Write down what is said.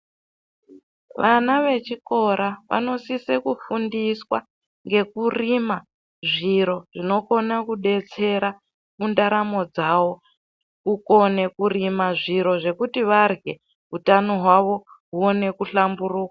Vana vechikora vanosise kufundiswa ngekurima zviro zvinokone kudetsera mundaramo dzawo kukone kurima zviro zvekuti varye utano hwavo huone kuhlamburuka.